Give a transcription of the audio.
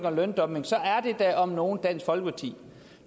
og løndumping så er det da om nogen dansk folkeparti